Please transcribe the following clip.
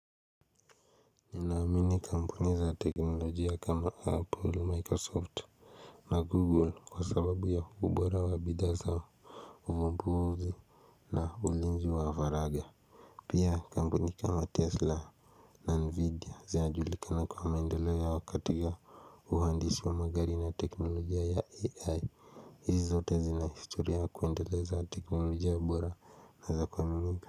Naamini kampuni za teknolojia kama Apple, Microsoft na Google kwa sababu ya ubora wa bidhaa zao ambao zina ulinzi wa faragha Pia kampuni kama Tesla na NVIDIA zinajulikana kwa maendeleo ya wakati hio uhandishi wa magari na teknolojia ya AI hizi zote zina historia ya kuendeleza teknolojia bora na za kuaminika.